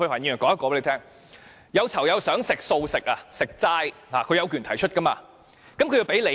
有囚友想要求素食，他有權提出，但要提供理由。